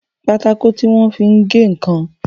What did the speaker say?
Pátákó tí wọ́n fi ń gé ǹkan